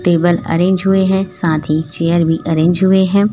Table arrange हुए हैं साथ ही चेयर भी अरेंज हुए हैं।